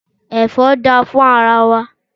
Ẹ̀fọ́ dá fún ara wa